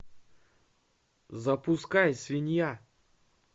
запускай свинья